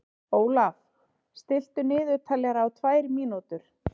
Ólaf, stilltu niðurteljara á tvær mínútur.